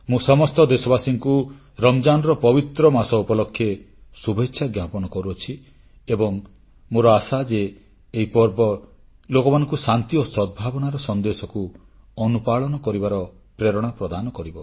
ମୁଁ ସମସ୍ତ ଦେଶବାସୀମାନଙ୍କୁ ଆଗାମୀ ପବିତ୍ର ରମଜାନ୍ ମାସ ଉପଲକ୍ଷେ ଶୁଭେଚ୍ଛା ଜ୍ଞାପନ କରୁଅଛି ଏବଂ ମୋର ଆଶା ଯେ ଏହି ପର୍ବ ଲୋକମାନଙ୍କୁ ଶାନ୍ତି ଓ ସଦ୍ଭାବନାର ସନ୍ଦେଶକୁ ଅନୁପାଳନ କରିବାର ପ୍ରେରଣା ପ୍ରଦାନ କରିବ